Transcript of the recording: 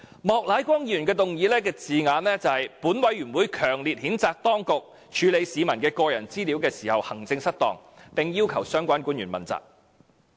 "莫乃光議員的議案措辭是："本委員會強烈譴責當局處理市民的個人資料時行政失當，並要求相關官員問責。